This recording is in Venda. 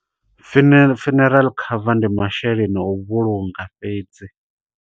Fune, funeral cover ndi masheleni a u vhulunga fhedzi.